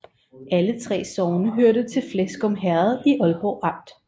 Alle 3 sogne hørte til Fleskum Herred i Ålborg Amt